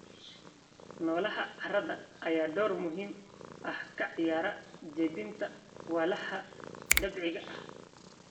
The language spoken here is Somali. Noolaha carrada ayaa door muhiim ah ka ciyaara jebinta walxaha dabiiciga ah.